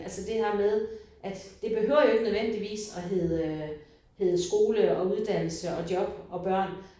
Altså det her med at det behøver jo ikke nødvendigvis at hedde hedde skole og uddannelse og job og børn